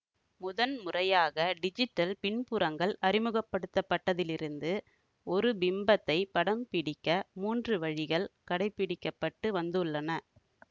முதன் முறையாக டிஜிடல் பின்புறங்கள் அறிமுகப்படுத்தப்பட்டதிலிருந்து ஒரு பிம்பத்தைப் படம் பிடிக்க மூன்று வழிகள் கடைப்பிடிக்க பட்டு வந்துள்ளன